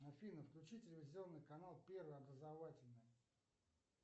афина включи телевизионный канал первый образовательный